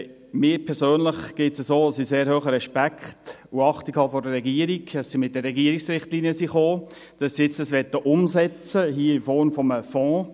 Mir persönlich geht es so, dass ich einen sehr hohen Respekt und Achtung vor der Regierung habe, dafür, dass sie mit den Regierungsrichtlinien gekommen sind und dies hier nun umsetzen möchten in Form eines Fonds.